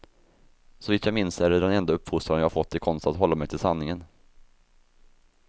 Så vitt jag minns är det den enda uppfostran jag fått i konsten att hålla mig till sanningen.